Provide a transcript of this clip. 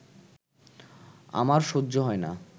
আমার সহ্য হয় না